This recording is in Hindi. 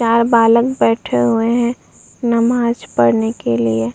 चार बालक बैठे हुए हैं नमाज पढ़ने के लिए।